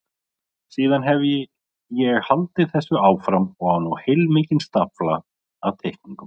Síðan hefi ég haldið þessu áfram og á nú heilmikinn stafla af teikningum.